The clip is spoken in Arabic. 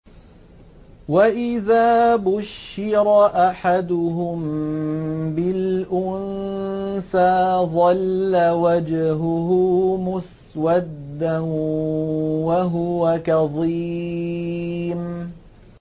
وَإِذَا بُشِّرَ أَحَدُهُم بِالْأُنثَىٰ ظَلَّ وَجْهُهُ مُسْوَدًّا وَهُوَ كَظِيمٌ